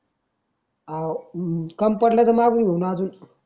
हाव अं कमी पडल तर मांगून घेऊ न अजून